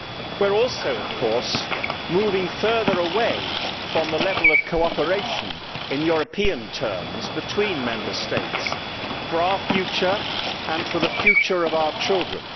We are also moving further away from the level of cooperation in European terms between Member States, for our future and for the future of our children.